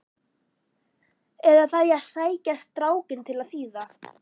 Eða þarf ég að sækja strákinn til að þýða?